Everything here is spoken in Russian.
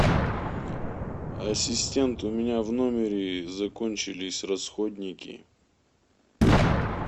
ассистент у меня в номере закончились расходники